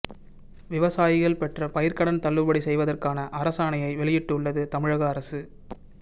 விவசாயிகள் பெற்ற பயிர்க்கடன் தள்ளுபடி செய்வதற்கான அரசாணையை வெளியிட்டுள்ளது தமிழக அரசு